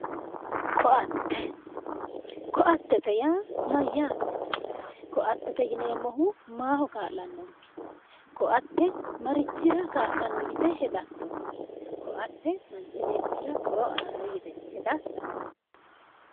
koatte koattete yaa mayyaate koattete yineemmohu maaho kaa'lannonke koatte marichira kaallanno yite hedatto koatte manchi beettira horo aanno yite hadatta?